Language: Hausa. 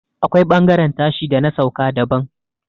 akwai bangaren tashi da na sauka daban